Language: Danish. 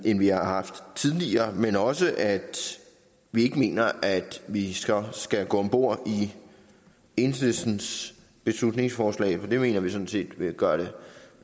end vi har haft tidligere men også til at vi ikke mener at vi skal gå om bord i enhedslistens beslutningsforslag det mener vi sådan set vil gøre